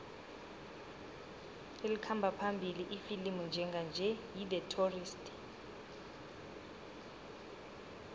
elikhamba phambili ifilimu njenganje yi the tourist